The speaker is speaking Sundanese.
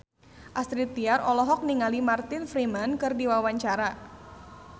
Astrid Tiar olohok ningali Martin Freeman keur diwawancara